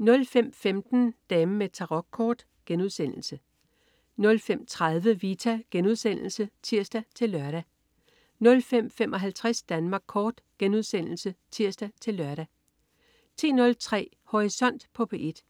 05.15 Damen med Tarokkort* 05.30 Vita* (tirs-lør) 05.55 Danmark Kort* (tirs-lør) 10.03 Horisont på P1.